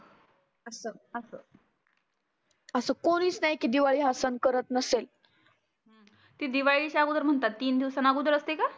असं असं आसं कुणीच नाही की दिवाळी हा सण करत नसेल. ते दिवाळीच्या आगोदर म्हणतात तीन दिवसानं आगोगरच असते का?